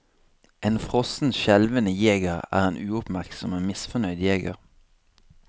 En frossen, skjelvende jeger er en uoppmerksom og misfornøyd jeger.